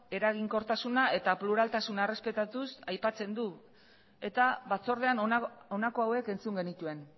eraginkortasuna eta pluraltasuna errespetatuz aipatzen du eta batzordean honako hauek entzun genituen